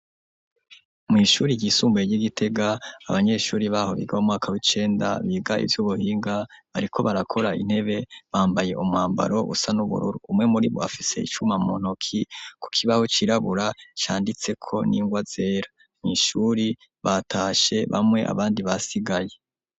Mw'ishure ryisumbuye ry'Igitega abanyeshure baho biga mu mwaka w'icenda, biga ivy'ubuhinga bariko barakora intebe bambaye umwambaro usa n'ubururu ,umwe muri bo afise icuma mu ntoki ku kibaho cirabura canditseko n'ingwa zera. Mw' ishure batashe bamwe abandi basigaye.